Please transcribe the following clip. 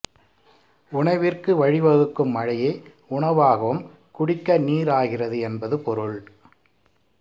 உணவிற்கு வழிவகுக்கும் மழையே உணவாகவும் குடிக்க நீர் ஆகிறது என்பது பொருள்